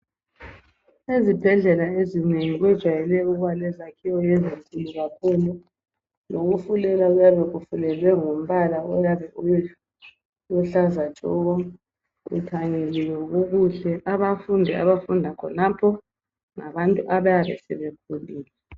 Ezibhedlela ezinengi kujayele ukuba lezakhiwo ezinkulu kakhulu. Lokufulela kuyabe kufulelwe ngombala oluhlaza kuthanyeliwe kukuhle. Abafundi abafunda khonapho ngabantu abayabe sebekhulile